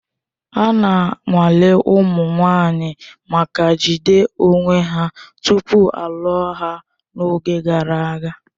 Ana nwale ụmụ nwanyị maka jide onwe ha tupu a lụọ ha n'oge gara aga